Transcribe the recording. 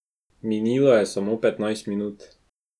Minilo je samo petnajst minut.